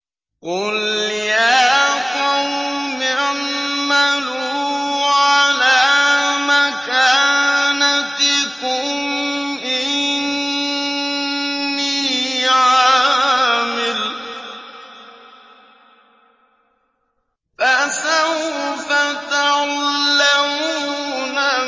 قُلْ يَا قَوْمِ اعْمَلُوا عَلَىٰ مَكَانَتِكُمْ إِنِّي عَامِلٌ ۖ فَسَوْفَ تَعْلَمُونَ